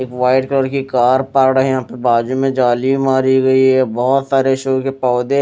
एक white colour की car पड़े हैं बाजू में जाली भी मारी हुई है बहुत सारे पौधे--